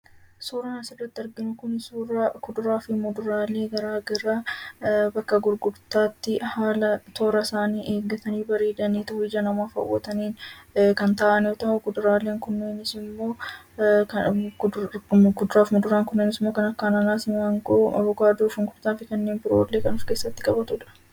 Suuraan asirratti kan argamu kun suuraa kuduraa fi muduraalee garaagaraa bakka gurgurtaatti haalan toora isaanii eeggatanii bareedanii bifa nama hawwatuun kan taa'an yoo ta'u, kuduraaleen kunneenis immoo kan akka anaanaasii, maangoo, avokaadoo, shunkurtaa fi kanneen biroollee kan of keessatti qabatudha.